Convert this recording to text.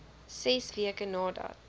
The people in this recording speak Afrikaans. ses weke nadat